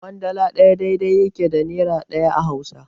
Ƙwandala ɗaya daidai yake da nera ɗaya a Hausa.